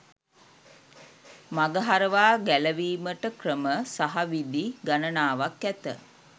මඟහරවා ගැලවීමට ක්‍රම සහ විධි ගණනාවක් ඇත